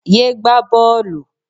Yé gbá bọ́ọ̀lù.